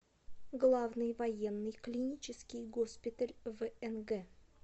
главный военный клинический госпиталь внг